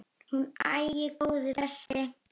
Hún: Æi, góði besti.!